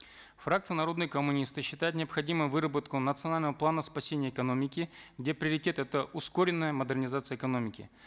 фракция народные коммунисты считает необходимым выработку национального плана спасения экономики где приоритет это ускоренная модернизация экономики